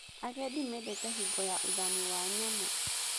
Agendi mendete hingo ya ũthami wa nyamũ.